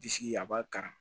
Disi a b'a kala